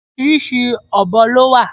Oríṣiríṣi ọ̀bọ lọ wà.